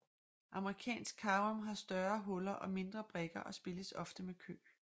Amerikansk Carrom har større huller og mindre brikker og spilles ofte med kø